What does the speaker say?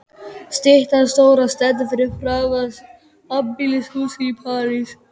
Styttan stóra stendur fyrir framan sambýlishúsið í París.